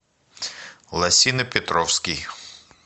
лосино петровский